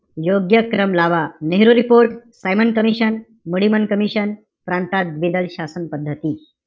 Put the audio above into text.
योग्य क्रम लावा. Nehru report, Simon commission, Muddiman commission, प्रांतात द्विदल शासन पद्धती.